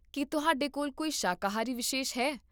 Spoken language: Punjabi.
ਕੀ ਤੁਹਾਡੇ ਕੋਲ ਕੋਈ ਸ਼ਾਕਾਹਾਰੀ ਵਿਸ਼ੇਸ਼ ਹੈ?